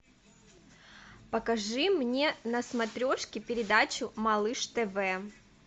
покажи мне на смотрешке передачу малыш тв